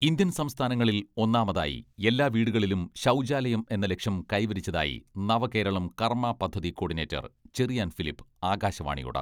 Indian സംസ്ഥാനങ്ങളിൽ ഒന്നാമതായി എല്ലാ വീടുകളിലും ശൗചാലയം എന്ന ലക്ഷ്യം കൈവരിച്ചതായി നവകേരളം കർമ്മ പദ്ധതി കോഡിനേറ്റർ ചെറിയാൻ ഫിലിപ്പ് ആകാശവാണിയോട്.............